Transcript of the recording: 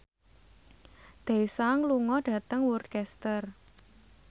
Daesung lunga dhateng Worcester